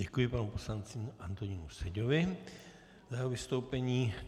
Děkuji panu poslanci Antonínu Seďovi za jeho vystoupení.